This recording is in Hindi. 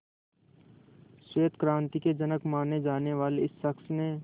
श्वेत क्रांति के जनक माने जाने वाले इस शख्स ने